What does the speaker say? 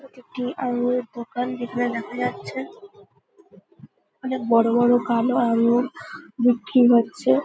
এটি একটি আঙ্গুরের দোকান যেখানে দেখা যাচ্ছে অনেক বড় বড় কালো আঙ্গুর বিক্রি হচ্ছে।